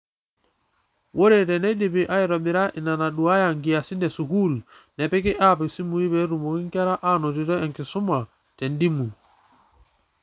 Ore teneidipi aitobirra inanaduaaya nkiasin esukuul, nepiki app isimui peetumoki nkera anotito enkisuma te dimu.